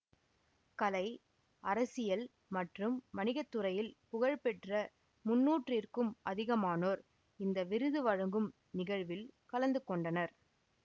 கலை அரசியல் மற்றும் வணிகத்துறையில் புகழ்பெற்ற முன்னூறிற்கும் அதிகமானோர் இந்த விருது வழங்கும் நிகழ்வில் கலந்து கொண்டனர்